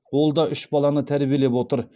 ол да үш баланы тәрбиелеп отыр